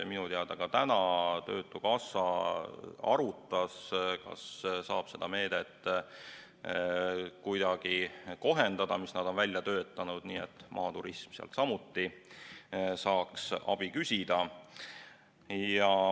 Minu teada täna ka töötukassa arutas, kas saab seda meedet, mis nad on välja töötanud, kuidagi kohendada, nii et maaturismi ettevõtted sealt samuti saaks abi küsida.